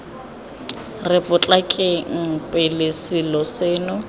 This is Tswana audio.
re potlakeng pele selo seno